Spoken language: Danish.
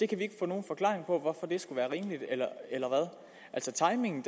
kan ikke få nogen forklaring på hvorfor det skulle være rimeligt altså timingen